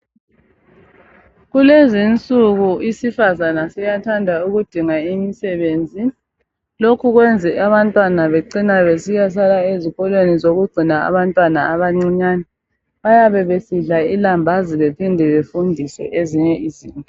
Kulezi insuku isifazana siyathanda ukudinga imisebenzi, lokho kwenze abantwana becina besiyasala ezikolweni zokugcina abantwana abancinyane. Bayabe besidla ilambazi bephinde befundiswe ezinye izinto.